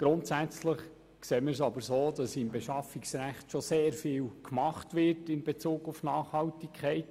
Grundsätzlich sehen wir es so, dass im Bereich des Beschaffungsrechts in Bezug auf Nachhaltigkeit bereits sehr vieles gemacht wird.